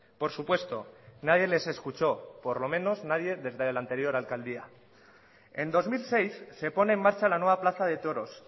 por supuesto nadie les escuchó por lo menos nadie desde la anterior alcaldía en dos mil seis se pone en marcha la nueva plaza de toros